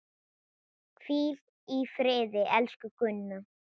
Hvíl í friði, elsku Gunna.